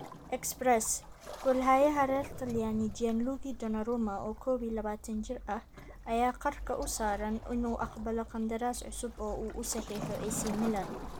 (Express) Goolhayaha reer Talyaani Gianluigi Donnarumma, oo kow iyo labatan jir ah, ayaa qarka u saaran inuu aqbalo qandaraas cusub oo uu u saxiixo AC Milan.